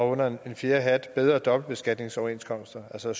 under en fjerde hat foreslog vi bedre dobbeltbeskatningsoverenskomster altså